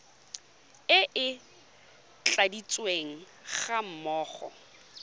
e e tladitsweng ga mmogo